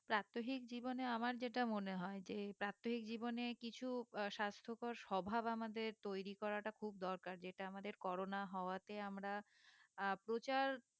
প্রাক্তহিক জীবনে আমার যেটা মনে হয়ে যে প্রাক্তহিক জীবনে কিছু স্বাস্থকর স্বভাব আমাদের তৈরী করাটা খুব দরকার যেটা আমাদের করোনা হওয়াতে আমরা আহ প্রচার